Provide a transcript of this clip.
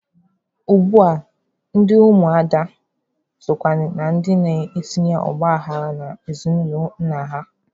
Ugbua ndị ụmụada sokwa na ndị na-etinye ọgbaghara n'ezinụlọ nna ha.